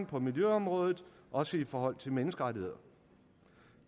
på miljøområdet også i forhold til menneskerettigheder